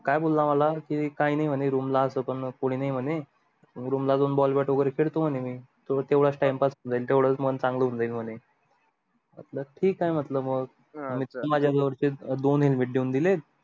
काय बोला मला की काय नाय म्हणे room ला अस पण कोणी नाही म्हणे room ला जाऊन ball bat वगैरे खेळतो आणि मी तो तेवढाच time pass होऊन जाईल तेवढच मन चांगल होऊन जाईल म्हणे म्हटल ठीक आहे म्हटल मग अं मजा बरोबर चे दोन helmet देऊन दिले